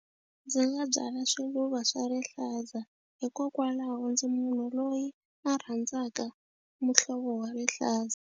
Ndzi nga byala swiluva swa rihlaza hikokwalaho ndzi munhu loyi a rhandzaka muhlovo wa rihlaza.